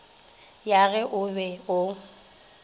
ya ge o be o